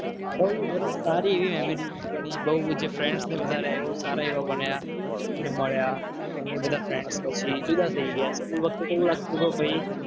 બહુ એટલે સારી એવી memory બની ગઈ. બહુ જે friend ને બધા સારા એવા બન્યા મળ્યા. અને એ બધા friend પછી જુદા થઈ ગયા. સ્કૂલો પછી